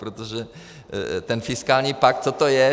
Protože ten fiskální pakt, co to je?